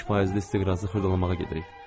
5 faizli istiqrazı xırdalamağa gedirik.